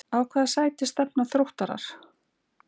Á hvaða sæti stefna Þróttarar?